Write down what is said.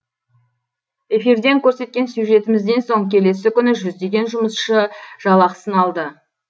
эфирден көрсеткен сюжетімізден соң келесі күні жүздеген жұмысшы жалақысын алды